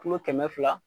Kilo kɛmɛ fila